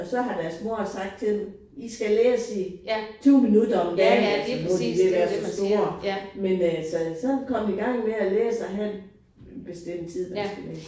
Og så har deres mor sagt til dem I skal læse i 20 minutter om dagen eller sådan nu er de ved at være så store men øh så så er kommet i gang med at læse og have en bestemt tid man skal læse